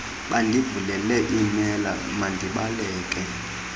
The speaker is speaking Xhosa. bandivulele iimela mandibaleke